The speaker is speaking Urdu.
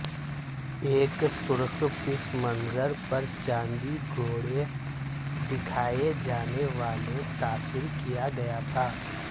ایک سرخ پس منظر پر چاندی گھوڑے دکھائے جانے والے تاثر کیا گیا تھا